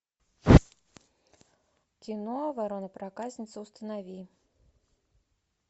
кино ворона проказница установи